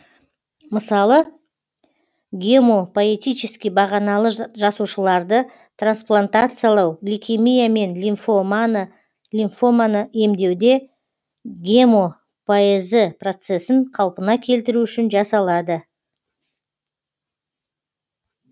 мысалы гемопоэтически бағаналы жасушаларды трансплантациялау лейкемия мен лимфоманы емдеуде гемопоэзі процесін қалпына келтіру үшін жасалады